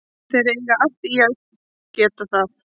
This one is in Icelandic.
Þeir eiga allt í að geta það.